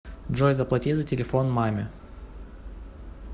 джой заплати за телефон маме